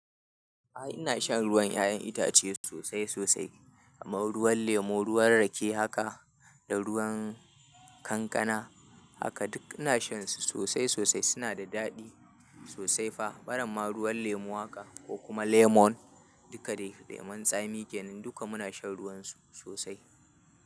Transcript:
Aa ina shan ruwan 'ya'yan itace sosai sosai, kamar ruwan lemu, ruwan rake haka da ruwan kankana haka duk ina shansu sosai sosai. Suna da daɗi sosai fa. Baramma ruwan lemu haka ko kuma lemon duka dai lemon tsami kenan duka muna shan ruwansu sosai.